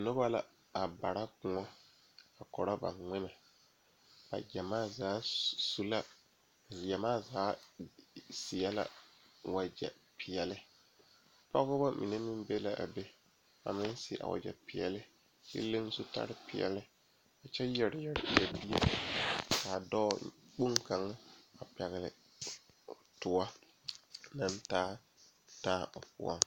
Noba la a kyɛne bamine de la wiɛ a yeere yeere baagre kaŋa soba meŋ e la gbɛre a zeŋ gbɛre saakere poɔ kyɛ kaa kaŋa soba paŋ daare o ,o meŋ yeere la baagi o puori.